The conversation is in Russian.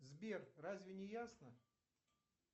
сбер разве не ясно